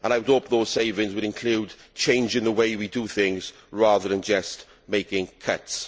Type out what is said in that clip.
I would hope those savings would include changes in the way we do things, rather than just making cuts.